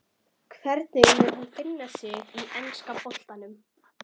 Hvernig mun hann finna sig í enska boltanum?